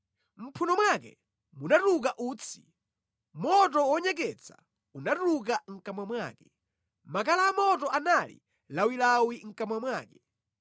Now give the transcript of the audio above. Mʼmphuno mwake munatuluka utsi; moto wonyeketsa unatuluka mʼkamwa mwake, makala amoto anali lawilawi mʼkamwa mwake.